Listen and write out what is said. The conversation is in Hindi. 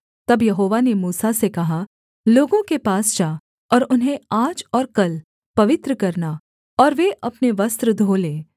तब यहोवा ने मूसा से कहा लोगों के पास जा और उन्हें आज और कल पवित्र करना और वे अपने वस्त्र धो लें